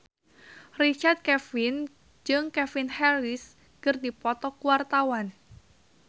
Richard Kevin jeung Calvin Harris keur dipoto ku wartawan